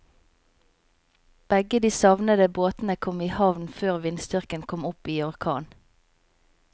Begge de savnede båtene kom i havn før vindstyrken kom opp i orkan.